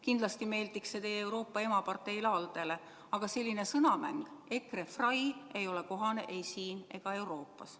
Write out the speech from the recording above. Kindlasti meeldiks see teie Euroopa emaparteile ALDE-le, aga selline sõnamäng, EKRE-frei, ei ole kohane ei siin ega Euroopas.